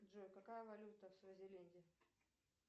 джой какая валюта в свазиленде